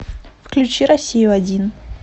включи россию один